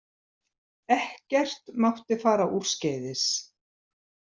Ekkert mátti fara úrskeiðis.